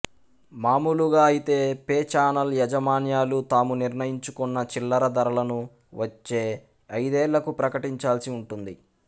మామూలుగా అయితే pay channel యాజమాన్యాలు తాము నిర్ణయించుకున్న చిల్లర ధరలను వచ్చే ఐదేళ్ళకూ ప్రకటించాల్సి ఉంటుంది